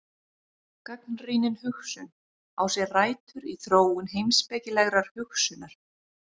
Gagnrýnin hugsun á sér rætur í þróun heimspekilegrar hugsunar.